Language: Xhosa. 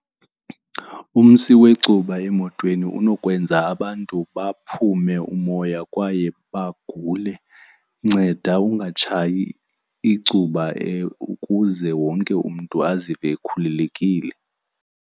Umsi wecuba emotweni unokwenza abantu baphume umoya kwaye bagule. Nceda ungatshayi icuba ukuze wonke umntu azive ekhululekile.